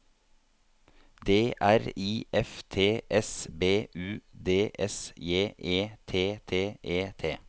D R I F T S B U D S J E T T E T